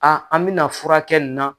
A an mɛna furakɛ nin na.